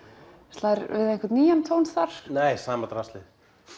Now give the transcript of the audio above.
slær við einhvern nýjan tón þar nei sama draslið